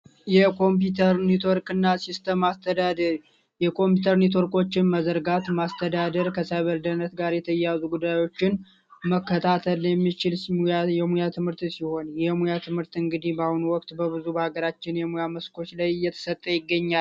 የኮምፒውተር ኔትወርክና ሲስተም አስተዳደር የኮምፒዩተር ኔትወርኮችን መዘርጋት ማስተዳደር ጋር የተያያዙ ጉዳዮችን መከታተል የሚችል የሙያ ትምህርት ሲሆን የሙያ ትምህርት እንግዲ በአሁኑ ወቅት በአገራችን ላይ እየተሰጠ ይገኛል